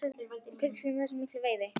En hver er skýringin á þessari miklu veiði?